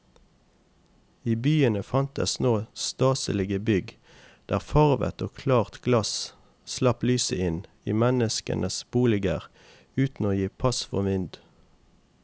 I byene fantes nå staselige bygg der farvet og klart glass slapp lyset inn i menneskenes boliger uten å gi pass for vind.